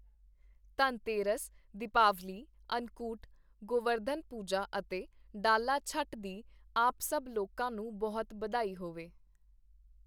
ਧਨਤੇਰਸ, ਦੀਪਾਵਲੀ, ਅੰਨਕੂਟ, ਗੋਵਰਧਨ ਪੂਜਾ ਅਤੇ ਡਾਲਾ ਛਠ ਦੀ ਆਪ ਸਭ ਲੋਕਾਂ ਨੂੰ ਬਹੁਤ ਬਧਾਈ ਹੋਵੋ!